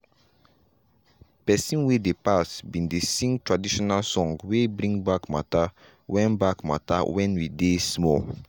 pesin wey dey pass bin dey sing traditional song wey bring back matter when back matter when we dey small.